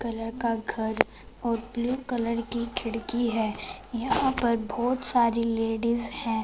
Colour का घर और ब्लू कलर की खिड़की है यहां पर बहोत सारी लेडिस है।